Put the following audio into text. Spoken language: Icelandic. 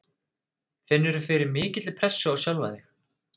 Finnurðu fyrir mikilli pressu á sjálfan þig?